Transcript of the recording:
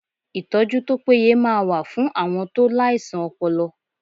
Ìtọ́jú tó péye máa wà fún àwọn tó láìsàn ọpọlọ